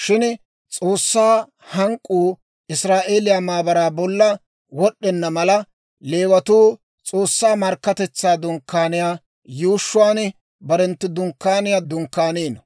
Shin S'oossaa hank'k'uu Israa'eeliyaa maabaraa bolla wod'd'enna mala, Leewatuu S'oossaa Markkatetsaa Dunkkaaniyaa yuushshuwaan barenttu dunkkaaniyaa dunkkaanino;